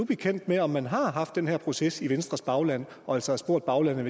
bekendt med om man har haft den her proces i venstres bagland og altså har spurgt baglandet